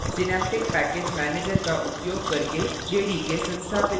synaptic package manager का उपयोग करके jdk संस्थापित करना